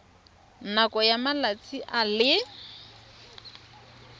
nakong ya malatsi a le